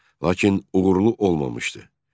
Lakin uğurlu olmamışdı.